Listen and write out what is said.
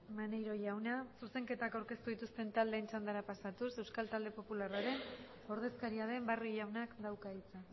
maneiro jauna zuzenketak aurkeztu dituzten taldeen txandatara pasatuz euskal talde popularraren ordezkaria den barrio jaunak dauka hitza